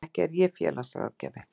Ekki er ég félagsráðgjafi.